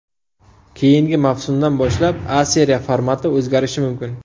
Keyingi mavsumdan boshlab A Seriya formati o‘zgarishi mumkin.